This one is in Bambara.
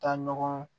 Taa ɲɔgɔn